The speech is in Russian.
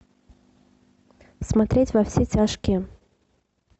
смотреть во все тяжкие